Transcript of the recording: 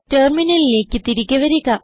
ടെർമിനലിലേക്ക് തിരികെ വരിക